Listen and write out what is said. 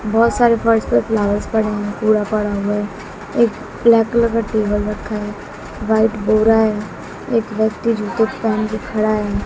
बहोत सारे फर्श पर फ्लावर्स पड़े हुए हैं पूरा पड़ा हुआ है एक ब्लैक कलर का टेबल रखा है वाइट बोरा है एक व्यक्ति जूते पहन के खड़ा है।